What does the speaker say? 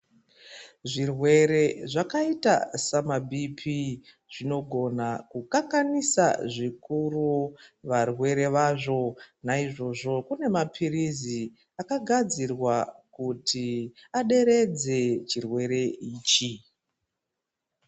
Zvirwere zvakaita samabhipi zvinogona kukanganisa zvikuru varwere vazvo naizvozvo kune mapirizi akagadzirwa kuti aderedze chirwere ichi .